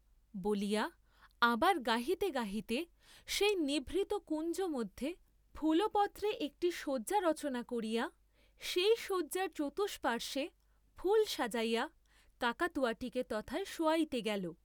বলিয়া আবার গাহিতে গাহিতে সেই নিভৃত কুঞ্জমধ্যে ফুলপত্রে একটি শয্যা রচনা করিয়া সেই শয্যার চতুষ্পার্শে ফুল সাজাইয়া কাকাতুয়াটিকে তথায় শোয়াইতে গেল।